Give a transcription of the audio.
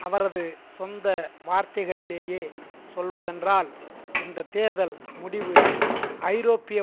அவரது சொந்த வார்த்தைகளிலேயே சொல்வதென்றால் இந்த தேர்தல் முடிவு ஐரோப்பிய